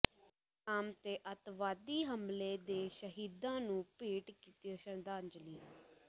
ਕਲਾਮ ਤੇ ਅੱਤਵਾਦੀ ਹਮਲੇ ਦੇ ਸ਼ਹੀਦਾਂ ਨੂੰ ਭੇਟ ਕੀਤੀ ਸ਼ਰਧਾਂਜਲੀ